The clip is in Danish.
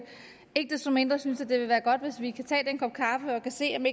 ikke desto mindre synes jeg det ville være godt hvis vi kan tage en kop kaffe og se om